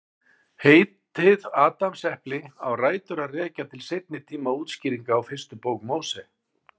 Heitið Adamsepli á rætur að rekja til seinni tíma útskýringar á fyrstu bók Móse.